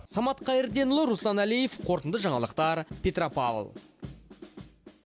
самат қайырденұлы руслан әлиев қорытынды жаңалықтар петропавл